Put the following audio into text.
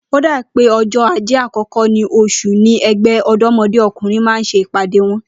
Ó dàbí o̩jó̩ Ajé àkó̩kó̩ nínú os̩ù ni e̩gbé̩ Ò̩dó̩mo̩dé O̩kùnrin máa ń s̩e ìpàdé wo̩n